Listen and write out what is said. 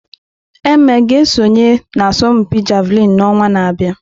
Eme ga-esonye n'asọmpi Javelin n'ọnwa na-abịa?